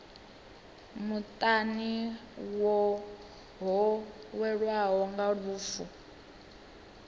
muṱani ho welwaho nga lufu